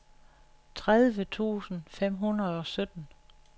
tredive tusind fem hundrede og sytten